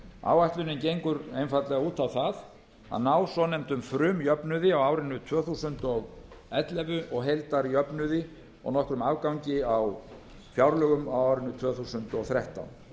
áætlunin gengur einfaldlega út á það að ná svonefndum frumjöfnuði á árinu tvö þúsund og ellefu og heildarjöfnuði og nokkrum afgangi á fjárlögum á árinu tvö þúsund og þrettán